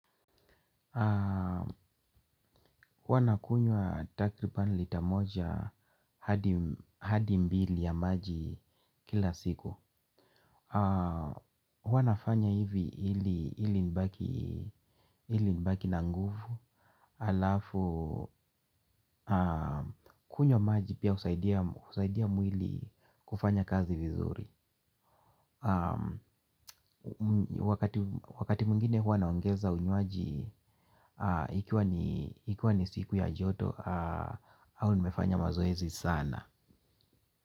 Huaa nakunywa takriban lita moja hadi mbili ya maji kila siku. Huanafanya hivi ili nibaki na nguvu. Alafu kunywa maji pia husaidia mwili kufanya kazi vizuri. Wakati mwingine huwa naongeza unywaji. Ikiwa ni siku ya joto au nimefanya mazoezi sana.